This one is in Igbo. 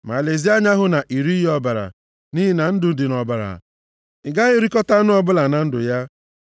Ma lezie anya hụ na i righị ọbara, nʼihi na ndụ dị nʼọbara. Ị gaghị erikọta anụ ọbụla na ndụ ya.